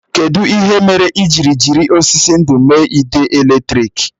Kedụ ihe mere i jiri jiri osisi ndú mee ide èlétrị̀k?